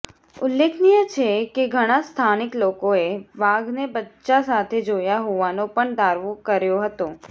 ઉલ્લેખનીય છે કે ઘણા સ્થાનિક લોકોએ વાઘને બચ્ચાં સાથે જોયા હોવાનો પણ દાવો કર્યો હતો